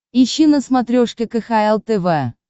ищи на смотрешке кхл тв